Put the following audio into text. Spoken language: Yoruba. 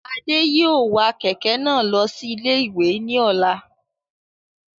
Adé yóò wa kẹ̀kẹ́ náà lọ sí ilé-ìwé ní ọ̀la